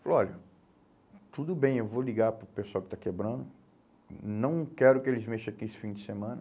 Falou, olha, tudo bem, eu vou ligar para o pessoal que está quebrando, não quero que eles mexam aqui esse fim de semana.